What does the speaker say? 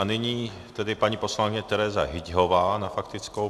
A nyní tedy paní poslankyně Tereza Hyťhová na faktickou.